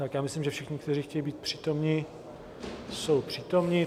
Tak já myslím, že všichni, kteří chtějí být přítomni, jsou přítomni.